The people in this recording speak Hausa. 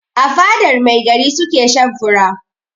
A fadar mai gari su ke shan fura.